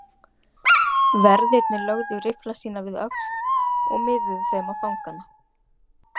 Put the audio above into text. Verðirnir lögðu riffla sína við öxl og miðuðu þeim á fangana.